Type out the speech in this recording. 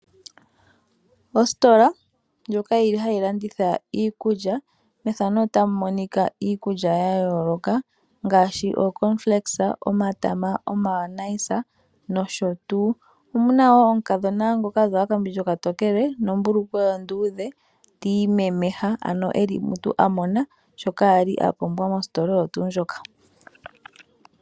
Ositola ndjoka yili hayi landitha iikulya. Iikulya ya yooloka ngaashi cornflakes, omatama, omayonaisa noshotuu. Moositola moka omuna aantu mboka hay longomo taya pakele iinima.